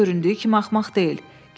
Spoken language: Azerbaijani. O göründüyü kimi axmaq deyil.